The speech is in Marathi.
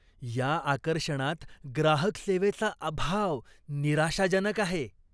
या आकर्षणात ग्राहक सेवेचा अभाव निराशाजनक आहे.